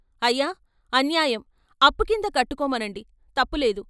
"అయ్యా, అన్యాయం. అప్పుకింద కట్టుకోమనండి తప్పులేదు.